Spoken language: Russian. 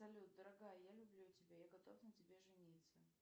салют дорогая я люблю тебя я готов на тебе жениться